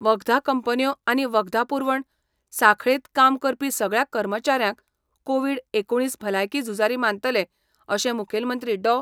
वखदा कंपन्यो आनी वखदा पुरवण साखळेत काम करपी सगळ्या कर्मचाऱ्यांक कोविड एकुणीस भलायकी झुजारी मानतले, अशे मुखेलमंत्री डॉ.